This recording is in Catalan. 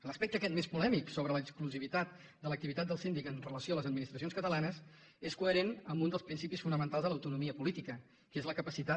l’aspecte aquest més polèmic sobre l’exclusivitat de l’activitat del síndic amb relació a les administracions catalanes és coherent amb un dels principis fonamentals de l’autonomia política que és la capacitat